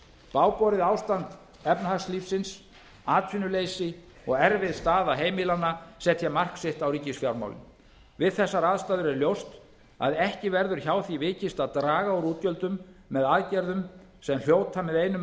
bágborið ástand efnahagslífsins atvinnuleysi og erfið staða heimilanna setja mark sitt á ríkisfjármálin við þessar aðstæður er ljóst að ekki verður hjá því vikist að draga úr útgjöldum með aðgerðum sem hljóta með einum